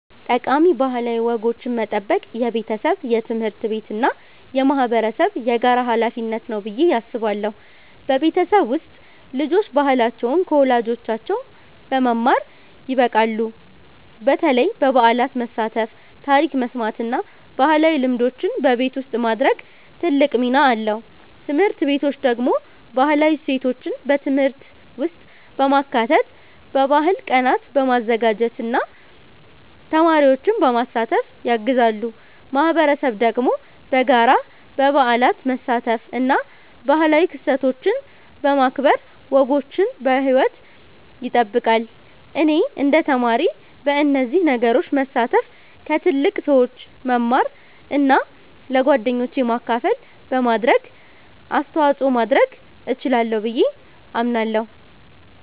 ጠቃሚ ባህላዊ ወጎችን መጠበቅ የቤተሰብ፣ የትምህርት ቤት እና የማህበረሰብ የጋራ ሀላፊነት ነው ብዬ አስባለሁ። በቤተሰብ ውስጥ ልጆች ባህላቸውን ከወላጆቻቸው በመማር ይበቃሉ፣ በተለይ በበዓላት መሳተፍ፣ ታሪክ መስማት እና ባህላዊ ልምዶችን በቤት ውስጥ ማድረግ ትልቅ ሚና አለው። ትምህርት ቤቶች ደግሞ ባህላዊ እሴቶችን በትምህርት ውስጥ በማካተት፣ በባህል ቀናት በማዘጋጀት እና ተማሪዎችን በማሳተፍ ያግዛሉ። ማህበረሰብ ደግሞ በጋራ በበዓላት መሳተፍ እና ባህላዊ ክስተቶችን በማክበር ወጎችን በሕይወት ይጠብቃል። እኔ እንደ ተማሪ በእነዚህ ነገሮች መሳተፍ፣ ከትልቅ ሰዎች መማር እና ለጓደኞቼ ማካፈል በማድረግ አስተዋጽኦ ማድረግ እችላለሁ ብዬ አምናለሁ።